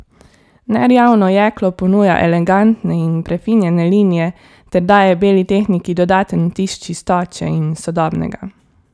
Nerjavno jeklo ponuja elegantne in prefinjene linije ter daje beli tehniki dodaten vtis čistoče in sodobnega.